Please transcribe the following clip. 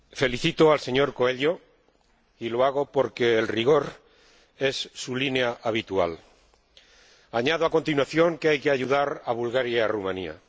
Señor Presidente, felicito al señor Coelho, y lo hago porque el rigor es su línea habitual. Añado, a continuación, que hay que ayudar a Bulgaria y a Rumanía.